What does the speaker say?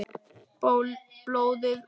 Blóðið vætlar.